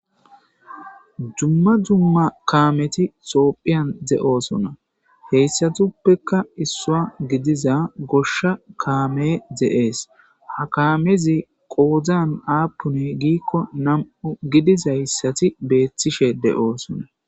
dumma dumma kaameti xoophiyan de7oosona heyssatuppekka issua gidiza goshsha kaame dze7ees ha kaamezi qoodzan aapuni giikko nam7u gidizayssati beethtishe de7oosona